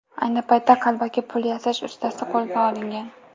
Ayni paytda qalbaki pul yasash ustasi qo‘lga olingan.